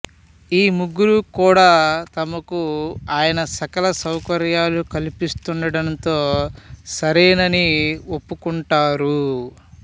ఈ ముగ్గురు కూడా తమకు ఆయన సకల సౌకర్యాలు కల్పిస్తుండటంతో సరేనని ఒప్పుకుంటారు